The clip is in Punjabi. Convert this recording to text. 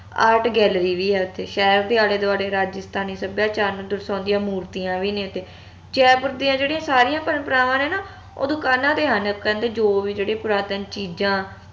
art gallery ਵੀ ਆ ਓਥੇ ਸ਼ਹਿਰ ਦੇ ਆਲੇ ਦਵਾਲੇ ਰਾਜਸਥਾਨੀ ਸੱਭਿਆਚਾਰ ਨੂੰ ਦਰਸ਼ਾਉਂਦੀਆਂ ਮੂਰਤੀਆਂ ਵੀ ਨੇ ਤੇ ਜੈਪੁਰ ਦੀਆ ਜੇੜੀਆਂ ਸਾਰੀਆਂ ਪਰੰਪਰਾਵਾਂ ਨੇ ਨਾ ਉਹ ਦੁਕਾਨਾਂ ਤੇ ਹਨ ਕਹਿੰਦੇ ਜੋ ਵੀ ਜਿਹੜੀ ਪੁਰਾਤਨ ਚੀਜਾਂ